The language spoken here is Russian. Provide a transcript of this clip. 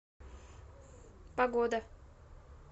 погода